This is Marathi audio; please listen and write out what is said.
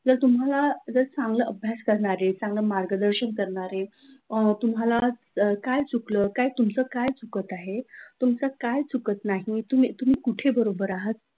जर तुम्हाला जर चांगले अभ्यास करणारी चांगले मार्गदर्शन करणारे, अ तुम्हाला काय चुकलं, तुमचं काय चुकत आहे, तुमचं चुकत नाही, तुम्ही कुठे बरोबर आहात,